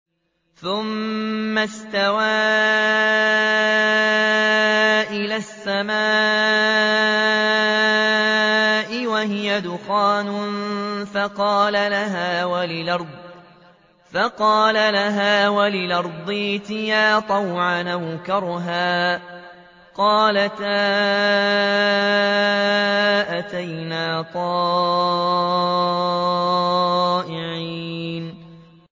ثُمَّ اسْتَوَىٰ إِلَى السَّمَاءِ وَهِيَ دُخَانٌ فَقَالَ لَهَا وَلِلْأَرْضِ ائْتِيَا طَوْعًا أَوْ كَرْهًا قَالَتَا أَتَيْنَا طَائِعِينَ